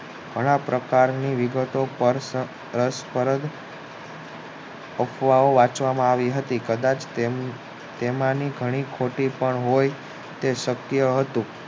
ઘણા પ્રકારની વિગતો પર અફવાઓ વાંચવામાં આવી હતી કદાચ તેમાની ઘણી ખોટી તો હોય તે શક્ય હતું